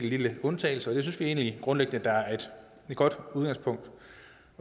lille undtagelse og det synes vi egentlig grundlæggende er et godt udgangspunkt